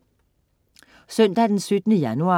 Søndag den 17. januar